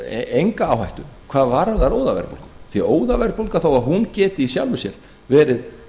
enga áhættu hvað varðar óðaverðbólgu því óðaverðbólga þó hún geti í sjálfu sér verið